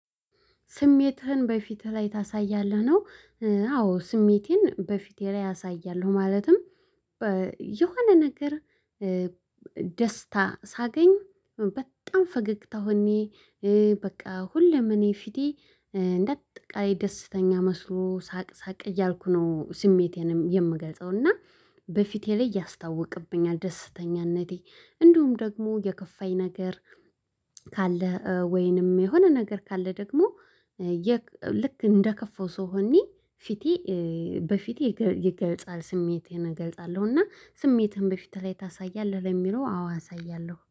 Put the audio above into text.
ስሜትህን በፊትህ ላይ ታሳያለህ ነው? አዎ ስሜቴን በፊቴ ላይ አሳያለሁ። ማለትም የሆነ ነገር ደስታ ሳገኝ በጣም ፈገግታ ሆኜ። በቃ ሁሌም እኔ ፊቴ እንደ አጠቃላይ ደስተኛ መስሎ ሳቅ ሳቅ እያልኩ ነው። ስሜቴንም የምገልጸው እና በፊቴ ላይ ያስታውቅብኛል ደስተኛነቴ። እንዲሁም ደግሞ የከፋኝ ነገር ካለ ወይንም የሆነ ነገር ካለ ደግሞ ልክ እንደ ከፋው ሰው ሆኜ ፊቴ በፊቴ ይገልጻል ስሜቴን እገልጻለሁ። እና ስሜትህን በፊትህ ላይ ታሳያለህ? ለሚለው አዎ አሳያለሁ